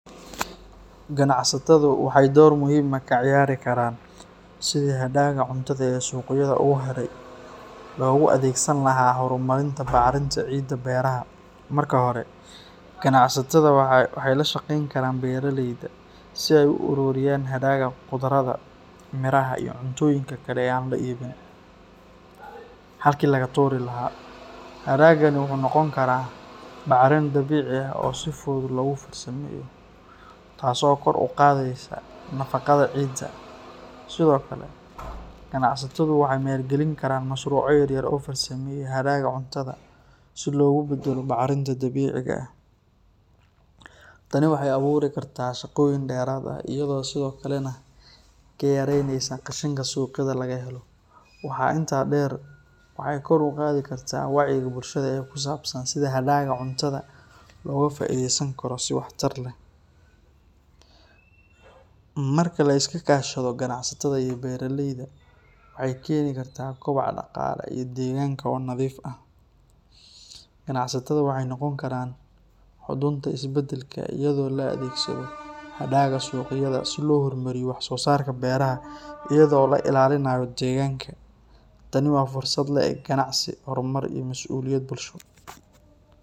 Ganacsatadu waxay door muhiim ah ka ciyaari karaan sidii hadhaaga cuntada ee suuqyada uga haray loogu adeegsan lahaa horumarinta bacrinta ciidda beeraha. Marka hore, ganacsatada waxay la shaqeyn karaan beeraleyda si ay u ururiyaan hadhaaga khudradda, miraha, iyo cuntooyinka kale ee aan la iibin, halkii laga tuuri lahaa. Hadhaagani wuxuu noqon karaa bacrin dabiici ah oo si fudud loogu farsameeyo , taasoo kor u qaadaysa nafaqada ciidda. Sidoo kale, ganacsatadu waxay maalgelin karaan mashruucyo yar-yar oo farsameeya hadhaaga cuntada si loogu beddelo bacrinta dabiiciga ah. Tani waxay abuuri kartaa shaqooyin dheeraad ah, iyadoo sidoo kalena ka yareynaysa qashinka suuqyada laga helo. Waxaa intaa dheer, waxay kor u qaadi kartaa wacyiga bulshada ee ku saabsan sida hadhaaga cuntada looga faa’iideysan karo si waxtar leh. Marka la iska kaashado ganacsatada iyo beeraleyda, waxay keeni kartaa kobac dhaqaale iyo deegaanka oo nadiif ah. Ganacsatada waxay noqon karaan xudunta isbedelka iyadoo la adeegsado hadhaaga suuqyada si loo hormariyo wax-soosaarka beeraha iyadoo la ilaalinayo deegaanka. Tani waa fursad la’eg ganacsi, horumar, iyo mas’uuliyad bulsho.